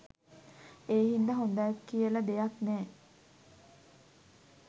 ඒ හින්දා හොඳ කියල දෙයක් නෑ